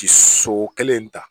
Ti so kelen in ta